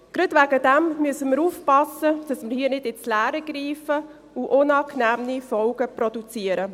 Gerade deswegen müssen wir aufpassen, dass wir hier nicht ins Leere greifen und unangenehme Folgen produzieren.